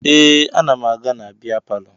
Ee, ana m aga na bịa palọ